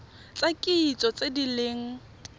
tsa kitso tse di leng